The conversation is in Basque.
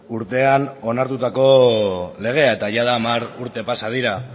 urtean onartutako legea eta jada hamar urte pasa dira